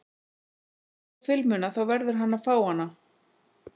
Ef hann vill fá filmuna þá verður hann að fá hana.